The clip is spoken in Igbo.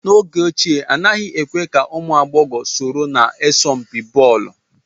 N'oge ochie, anaghị èkwe ka ụmụ agbọghọ soro na asọmpi bọọlu